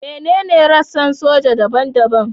Menene rassan soja daban-daban?